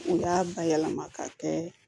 U y'a bayɛlɛma ka kɛ